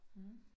Mh